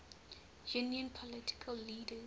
union political leaders